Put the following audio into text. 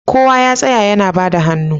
Kowa ya tsaya ana bada hannu